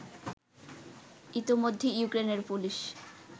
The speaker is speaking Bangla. ইতোমধ্যে ইউক্রেনের পুলিশ